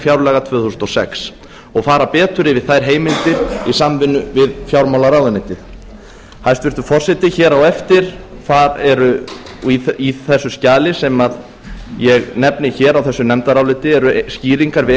fjárlaga tvö þúsund og sex og fara betur yfir þær heimildir í samvinnu við fjármálaráðuneytið hæstvirtur forseti hér á eftir í þessu skjali sem ég nefni hér á þessu nefndaráliti eru skýringar við